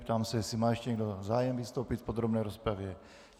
Ptám se, jestli má ještě někdo zájem vystoupit v podrobné rozpravě.